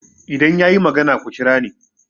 idan ya yi magana ku kira ni